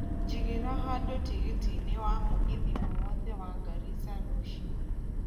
jigira handu tigiti ini wa mũgithi o wothe wa Garissa rũcio